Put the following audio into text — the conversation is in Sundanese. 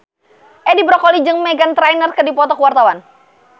Edi Brokoli jeung Meghan Trainor keur dipoto ku wartawan